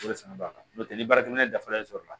O de fana b'a la n'o tɛ ni baarakɛminɛ dafalen sɔrɔla